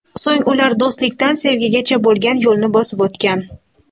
So‘ng ular do‘stlikdan sevgigacha bo‘lgan yo‘lni bosib o‘tgan.